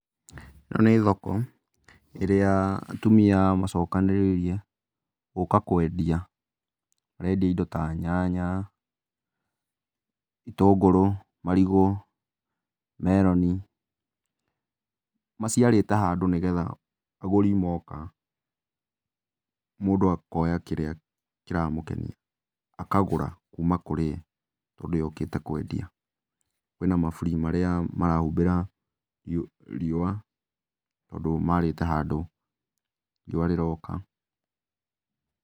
Ĩno nĩ thoko, ĩrĩa atumia macokanĩrĩire gũka kwendia. Marendia indo ta nyanya, itũngũrũ, marigũ, meroni, ,maciarĩte handũ nĩgetha agũri moka, mũndũ akoya kĩrĩa kĩramũkenia. Akagũra kuma kũrĩ ũrĩa ũkĩte kwendia. Kwĩna maburi marĩa marahumbĩra riũa, tondũ marĩte handũ riũa rĩroka.